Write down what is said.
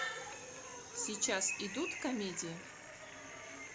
сейчас идут комедии